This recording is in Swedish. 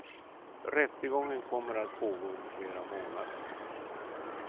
Rättegången kommer att pågå under flera månader.